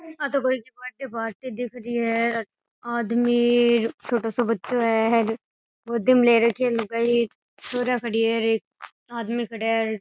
आ तो कोई की बर्थडे पार्टी दिख री है आदमी छोटो सो बच्चो है र गोदी में ले रखी है लुगाई छोरिया खड़ी है और एक आदमी खड़ा है।